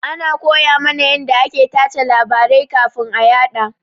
Ana koya mana yanda ake tace labarai kafin a yaɗa.